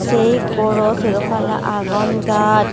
se goro sero palla agon gaj.